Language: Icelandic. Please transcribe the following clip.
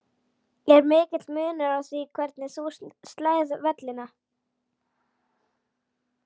Er mikill munur á því hvernig þú slærð vellina?